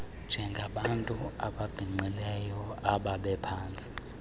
njengabantu ababhinqileyo ababephantsi